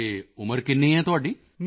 ਅਤੇ ਉਮਰ ਕਿੰਨੀ ਹੈ ਤੁਹਾਡੀ